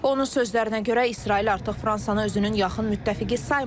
Onun sözlərinə görə, İsrail artıq Fransanı özünün yaxın müttəfiqi saymır.